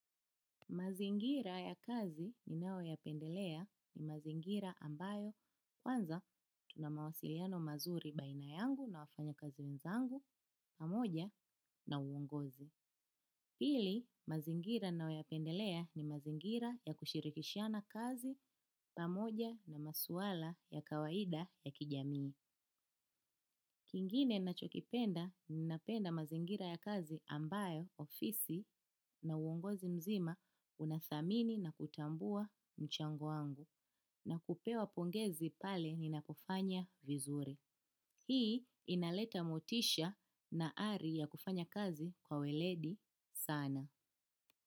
Mazingira ya kazi ninayo ya pendelea ni mazingira ambayo kwanza tunamawasiliano mazuri baina yangu na wafanya kazi wenzangu pamoja na uongozi. Pili, mazingira nayo ya pendelea ni mazingira ya kushirikishana kazi pamoja na masuala ya kawaida ya kijamii. Kingine nachokipenda ninapenda mazingira ya kazi ambayo ofisi na uongozi mzima unathamini na kutambua mchango wangu na kupewa pongezi pale ninapofanya vizuri. Hii inaleta motisha na ari ya kufanya kazi kwa weledi sana.